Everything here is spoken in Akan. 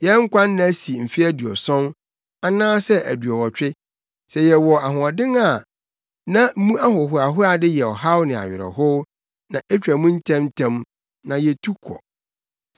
Yɛn nkwa nna si mfe aduɔson, anaasɛ aduɔwɔtwe, sɛ yɛwɔ ahoɔden a; na mu ahohoahoade yɛ ɔhaw ne awerɛhow, na etwa mu ntɛmntɛm, na yetu kɔ.